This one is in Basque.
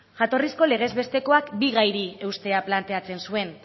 jatorrizko lege bestekoak bi gairi eustea planteatzen zuen